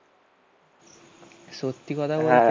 সত্যি কথা বলছি